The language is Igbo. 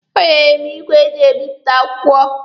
O nyere m igwe e ji ebipụta akwụkwọ.